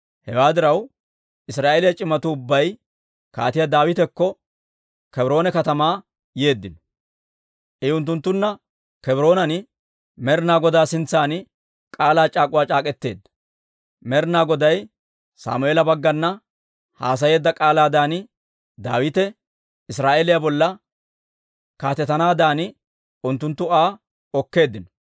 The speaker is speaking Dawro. Hewaa diraw, Israa'eeliyaa c'imatuu ubbay Kaatiyaa Daawitakko Kebroone katamaa yeeddino; I unttunttunna Kebroonan Med'inaa Godaa sintsan k'aalaa c'aak'uwaa c'aak'k'eteedda. Med'inaa Goday Sammeela baggana haasayeedda k'aalaadan, Daawite Israa'eeliyaa bolla kaatetanaaddan unttunttu Aa okkeeddino.